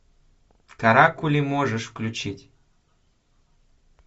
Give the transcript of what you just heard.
каракули можешь включить